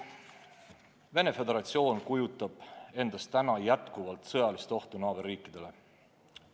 Venemaa Föderatsioon kujutab endast jätkuvalt sõjalist ohtu naaberriikidele.